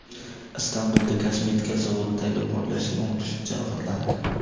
Istanbulda kosmetika zavodidagi portlashda o‘n kishi jarohatlandi.